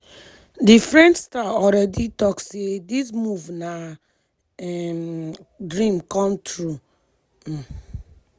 di french star already tok say dis move na “dream come true.”